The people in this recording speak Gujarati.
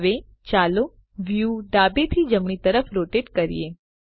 હવે ચાલો વ્યુ ડાબે થી જમણી તરફ રોટેટ કરીએ